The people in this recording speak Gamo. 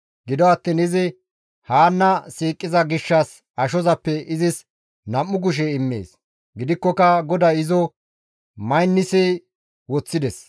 Gido attiin izi Haanna siiqiza gishshas ashozappe izis nam7u kushe immees; gidikkoka GODAY izo maynissi woththides.